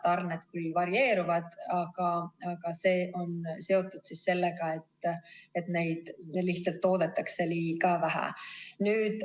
Tarned küll varieeruvad, aga see on seotud sellega, et neid lihtsalt toodetakse liiga vähe.